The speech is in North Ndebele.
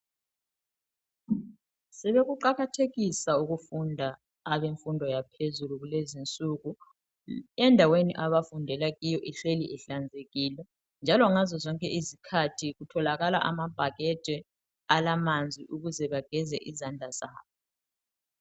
Sebekuqakathekisa ukufunda abemfundo yaphezulu kulezinsuku, endaweni abafundela kuyo ihleli ihlanzekile njalo ngazozonke izikhathi kutholakala amabhakede alamanzi ukuze bageze izandla zabo.